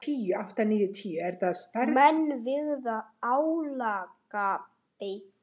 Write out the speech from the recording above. Menn virða álagabletti.